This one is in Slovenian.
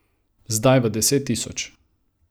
Zdaj v deset tisoč.